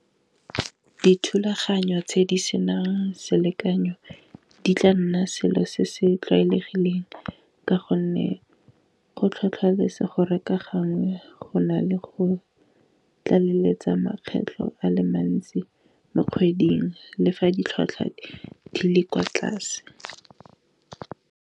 Dithulaganyo tse di senang selekanyo di tla nna selo se se tlwaelegileng ka gonne go tlhotlheletsa gore ka gangwe go na le go tlaleletsa makgetlho a le mantsi mo dikgweding, le fa ditlhwatlhwa di le kwa tlase.